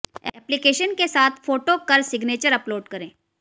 application के साथ photo कर सिग्नेचर अपलोड करें